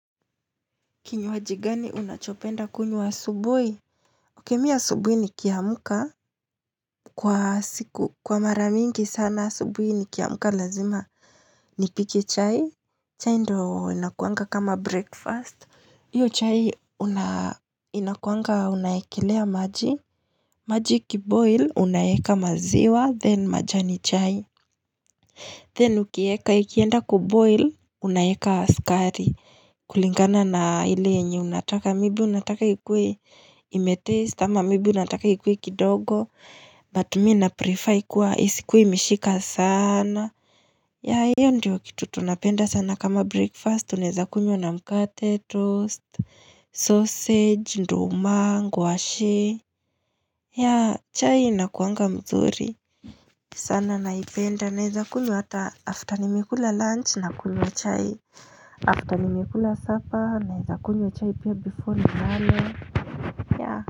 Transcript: Kinywa gani unachopenda kunyua wa subuhi Okemi ya subuhi ni kiamuka Kwa siku kwa mara mingi sana subuhi ni kiamuka lazima ni pike chai chai ndo inakuanga kama breakfast Iyo chai inakuanga unayekelea maji maji kiboil unayeka maziwa then majani chai Then ukieka ikienda kiboil unayeka askari kulingana na hile enye unataka mibu unataka kikwe imetaste ama mibu unataka kikwe kidogo But mi na purifa kuwa isikuwe mishika sana ya hiyo ndiyo kitu tunapenda sana kama breakfast uneza kunywa na mkate toast Sausage, ndo umango, washi ya chai inakuanga mzuri sana naipenda neza kulu hata after nimela lunch na kulu chai After nimekula sapa na hizakunyo chai pia bifu ni hane.